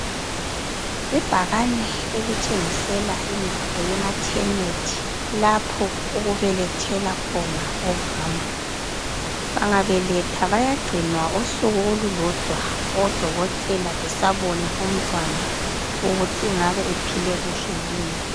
Ibhakane elitshengisela indawo yemathenethi lapho okubelethela khona omama. Bangabeletha bayagcinwa usuku olulodwa odokotela besabona umntwana ukuthi engabe ephile kuhle yini.